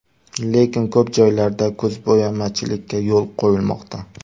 Lekin, ko‘p joylarda ko‘zbo‘yamachilikka yo‘l qo‘yilmoqda.